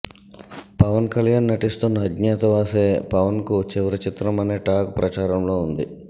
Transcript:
పవన్ కళ్యాణ్ నటిస్తున్న అజ్ఞాతవాసే పవన్ కు చివరి చిత్రం అనే టాక్ ప్రచారంలో ఉంది